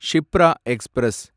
Shipra express